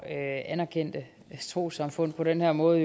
anerkendte trossamfund på den her måde